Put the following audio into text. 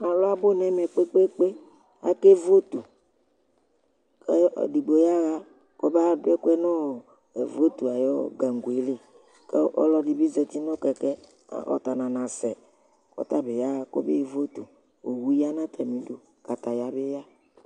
Alʋ abʋ nʋ ɛmɛ kpekpeekpe, akevotʋ kʋ ɛdigbo yaɣa kɔba dʋ ɛkʋɛ nʋ votʋ ayu gango yɛli kʋ alɔdi bi zati nʋ kɛkɛ, ɔta nanasɛ, kʋ ɔtabi yaɣa kɔbe votʋ Owu ya nʋ atami idu, kataya bi ya